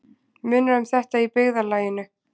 Munar um þetta í byggðarlaginu